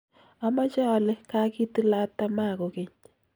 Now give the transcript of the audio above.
amoche ale kakitilat tamaa kokeny.